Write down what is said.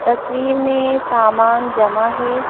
तस्वीर में सामान जमा है।